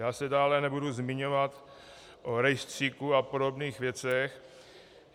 Já se dále nebudu zmiňovat o rejstříku a podobných věcech.